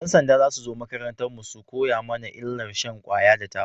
Yan sanda za su zo makarantar mu su koya mana illar shan kwaya da taba